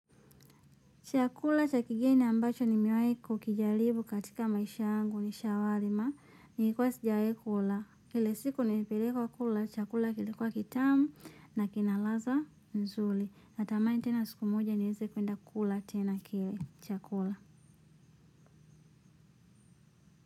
Chakula cha kigeni ambacho nimewai kukijaribu katika maisha yangu ni shawarma. Ni ikuwe sijawai kula. Ile siku nilipelekwa kula, chakula kilikuwa kitamu na kinaladha nzuri. Na tamani tena siku moja niweze kwenda kula tena kile. Chakula.